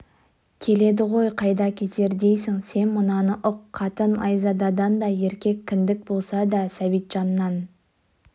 келеді ғой қайда кетер дейсің сен мынаны ұқ қатын айзададан да еркек кіндік болса да сәбитжаннан